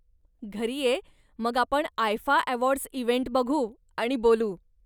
घरी ये, मग आपण आयफा अवॉर्डस् इव्हेंट बघू आणि बोलू.